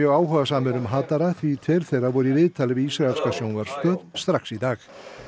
áhugasamir um því tveir þeirra voru í viðtali við ísraelska sjónvarpsstöð strax í dag